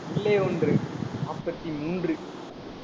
உள்ளே ஒன்று, நாற்பத்தி மூன்று.